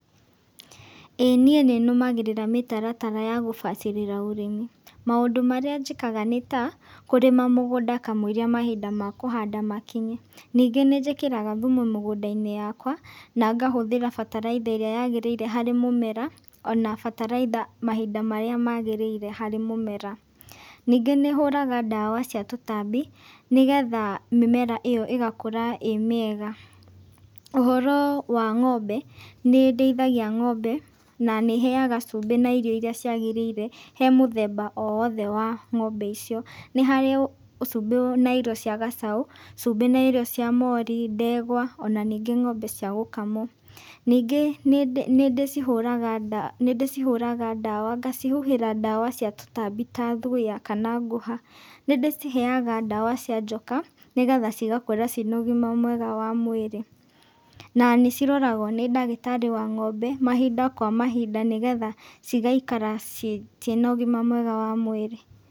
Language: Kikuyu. Ĩĩ niĩ nĩ nũmagĩrĩra mĩtaratara ya gũbacĩrĩra ũrĩmi, maũndũ marĩa njĩkaga nĩta, kũrĩmi mũgũnda kamwĩiria mahinda ma kũhanda makinye. Ningĩ nĩ njĩkiraga thumu mũgũnda-inĩ yakwa, na ngahũthĩra bataraitha ĩrĩa yagĩrĩire harĩ mũmera, ona bataraitha mahinda marĩa magĩrĩire harĩ mũmera. Ningĩ nĩ hũraga ndawa cia tũtambi, nĩgetha mĩmera ĩyo ĩgakũra ĩmĩega, ũhoro wa ng'ombe, nĩ ndĩithagia ng'ombe, na nĩ heyaga cumbĩ, na irio iria ciagĩrĩire, he mũthemba o wothe wa ng'ombe icio, nĩ harĩ cumbĩ na irio cia gacaũ, cumbĩ na irio cia mori, ndegwa, ona ningĩ ng'ombe cia gũkamwo. Ningĩ nĩ ndĩci ndĩcihũraga nda nĩ ndĩcihũraga ndawa, ngacihuhĩra ndawa cia tũtambi ta thuya, kana ngũha, nĩ ndĩciheyaga ndawa cia njoka, nĩgetha cigakorwo ciĩna ũgima mwega wa mwĩrĩ, na niciroragwo nĩ ndagĩtari wa ng'ombe, mahinda kwa mahinda nigetha cigaikara ciĩna ũgima mwega wa mwĩrĩ.